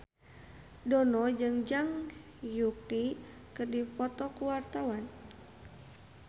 Dono jeung Zhang Yuqi keur dipoto ku wartawan